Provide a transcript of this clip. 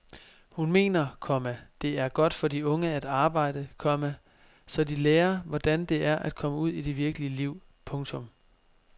Hun mener, komma det er godt for de unge at arbejde, komma så de lærer hvordan det er at komme ud i det virkelige liv. punktum